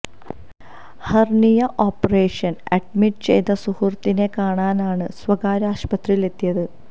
hernia operation admit ചെയ്ത സുഹൃത്തിനെ കാണാനാണ് സ്വകാര്യ ആശുപത്രിയില് എത്തിയത്